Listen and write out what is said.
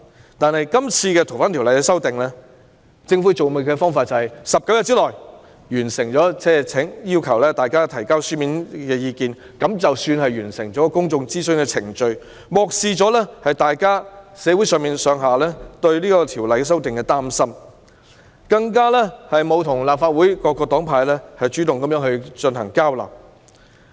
然而，政府今次處理《逃犯條例》修訂的方式是要求大家在19天內提交書面意見，就當作完成公眾諮詢的程序，漠視社會上對修訂《逃犯條例》的擔心，更沒有主動與立法會各黨派進行交流。